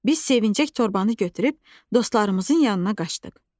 Biz sevincək torbanı götürüb dostlarımızın yanına qaçdıq.